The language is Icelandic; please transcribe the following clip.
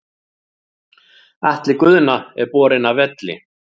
Atli Guðna er borinn af velli.